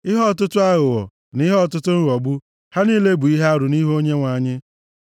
Ihe ọtụtụ aghụghọ na ihe ọtụtụ nghọgbu, ha niile bụ ihe arụ nʼihu Onyenwe anyị.